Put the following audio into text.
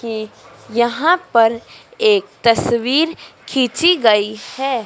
कि यहां पर एक तस्वीर खींची गई हैं।